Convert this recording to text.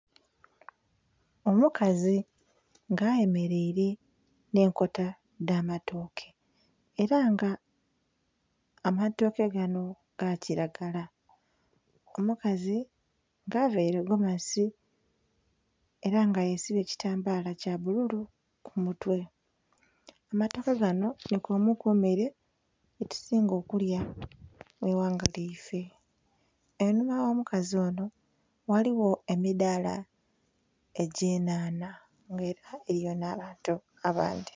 Mukazi nga ayemereire nhe enkota dha matoke era nga amatoke ganho ga kilagala omukazi avaire egomasi era nga yesibye ekitambala kya bbululu ku mutwe. Amatoke ganho nhi kwemu ku mere gyetusimga okulya mu ighanga lyaife, einhuma gho mukazi onho ghaligho emidhala egye nhanha nga era eriyo nha bantu abandhi.